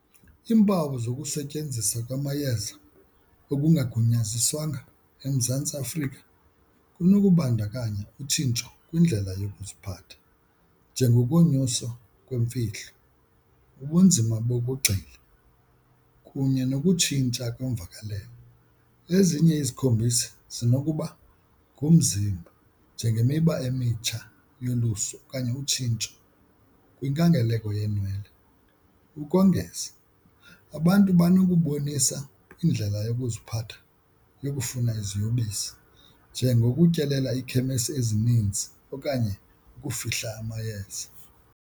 Iimpawu zokusetyenzisa kwamayeza okungagunyaziswanga eMzantsi Afrika kunokubandakanya utshintsho kwindlela yokuziphatha njengokunyuswa yemfihlo, ubunzima bokugxila kunye nokutshintsha kwemvakalelo. Ezinye izikhombisi zinokuba ngumzimba njengemiba emitsha yolusu okanye utshintsho kwinkangeleko yeenwele. Ukongeza, abantu banokubonisa indlela yokuziphatha yokufuna iziyobisi njengokutyelela iikhemesi ezininzi okanye ukufihla amayeza.